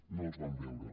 no els vam veure